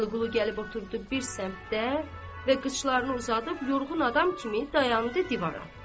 Vəliqulu gəlib oturdu bir səmtə və qıçlarını uzadıb yorğun adam kimi dayandı divara.